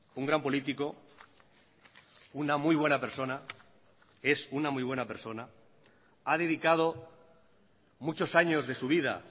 un gran político una muy buena persona es una muy buena persona ha dedicado muchos años de su vida